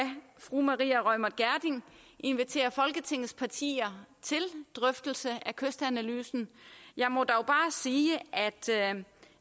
fru maria reumert gjerding invitere folketingets partier til drøftelse af kystanalysen jeg må dog bare sige